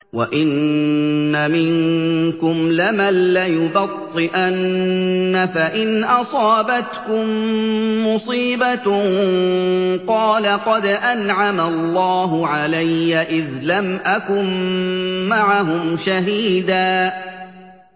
وَإِنَّ مِنكُمْ لَمَن لَّيُبَطِّئَنَّ فَإِنْ أَصَابَتْكُم مُّصِيبَةٌ قَالَ قَدْ أَنْعَمَ اللَّهُ عَلَيَّ إِذْ لَمْ أَكُن مَّعَهُمْ شَهِيدًا